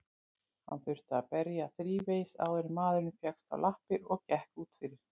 Hann þurfti að berja þrívegis áður en maðurinn fékkst á lappir og gekk út fyrir.